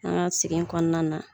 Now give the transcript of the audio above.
An ka sigi kɔnɔna na